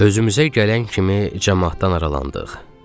Özümüzə gələn kimi camaatdan aralandıq.